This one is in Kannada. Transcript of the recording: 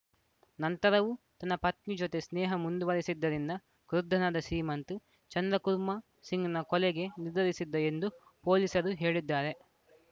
ನಂತರವೂ ತನ್ನ ಪತ್ನಿ ಜತೆ ಸ್ನೇಹ ಮುಂದುವರೆಸಿದ್ದರಿಂದ ಕ್ರುದ್ಧನಾದ ಸೀಮಂತ್‌ ಚಂದ್ರಕುರ್ಮ ಸಿಂಗ್‌ನ ಕೊಲೆಗೆ ನಿರ್ಧರಿಸಿದ್ದ ಎಂದು ಪೊಲೀಸರು ಹೇಳಿದ್ದಾರೆ